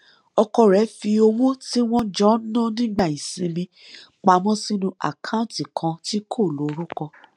ọkọ rẹ fi owó tí wọn jọ ń ná nígbà ìsinmi pa mọ sínú àkáǹtì kan tí kò lorúkọ